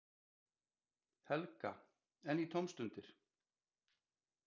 Helga: En í tómstundir?